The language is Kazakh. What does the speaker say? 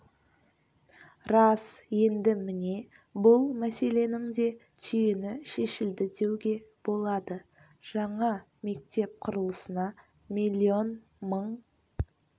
рас енді міне бұл мәселенің де түйіні шешілді деуге болады жаңа мектеп құрылысына миллион мың